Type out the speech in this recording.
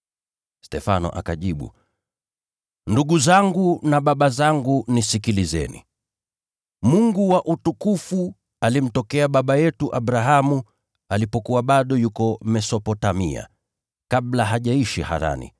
Stefano akajibu, “Ndugu zangu na baba zangu, nisikilizeni! Mungu wa utukufu alimtokea baba yetu Abrahamu, alipokuwa bado yuko Mesopotamia, kabla hajaishi Harani,